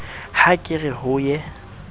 ha ke re ho ye